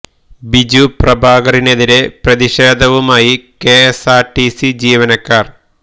ബിജു പ്രഭാകറിനെതിരെ പ്രതിഷേധവുമായി K S R T C ജീവനക്കാർ